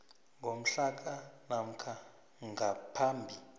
ngomhlaka namkha ngaphambi